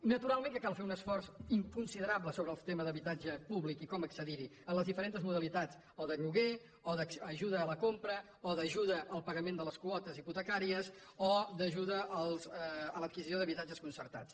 naturalment que cal fer un esforç i considerable sobre el tema d’habitatge públic i com accedir hi en les diferents modalitats o de lloguer o d’ajuda a la compra o d’ajuda al pagament de les quotes hipotecàries o d’ajuda a l’adquisició d’habitatges concertats